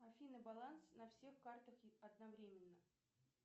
афина баланс на всех картах одновременно